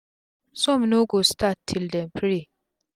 sum no go start till dem pray